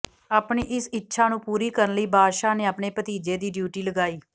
ਆਪਣੀ ਇਸ ਇੱਛਾ ਨੂੰ ਪੂਰੀ ਕਰਨ ਲਈ ਬਾਦਸ਼ਾਹ ਨੇ ਆਪਣੇ ਭਤੀਜੇ ਦੀ ਡਿਊਟੀ ਲਗਾਈ